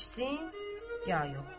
İçsin ya yox?